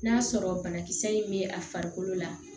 N'a sɔrɔ banakisɛ in bɛ a farikolo la